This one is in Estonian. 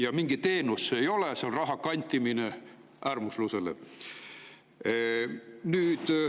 Ja mingi teenus see ei ole, see on raha kantimine äärmuslusele.